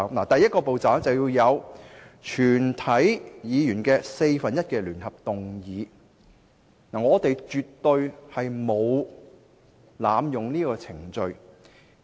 第一個步驟，是全體議員的四分之一聯合動議；因此，我們絕對沒有濫用這個程序。